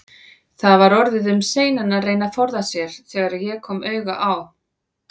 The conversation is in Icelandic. Það var orðið um seinan að reyna að forða sér, þegar ég kom auga á